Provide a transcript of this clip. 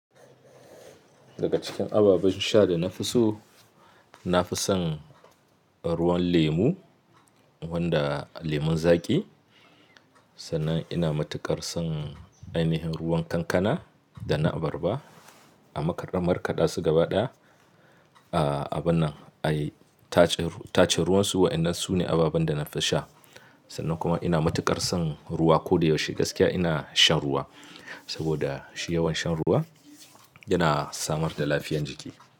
Daga cikin ababen sha da na fi so, na fi son ruwan lemu wanda lemon zaƙi. Sannan ina matuƙar son ainihin ruwan kankana da na abarba. A marka markada su gaba ɗaya, abun nan, ayi tace ruwan su waɗannan su ne ababen da na fi sha. Sannan kuma ina mutuƙar son ruwa ko da yaushe gaskiya ina shan ruwa saboda shiyawan shan ruwa yana samar da lafiyan jiki.